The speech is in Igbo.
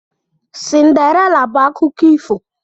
Cinderella bụ akụkọ ifo.